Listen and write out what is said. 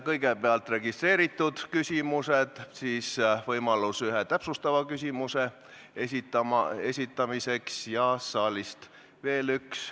Kõigepealt esitatakse registreeritud küsimused, pärast mida on küsijal võimalus küsida üks täpsustav küsimus ja saalist veel üks.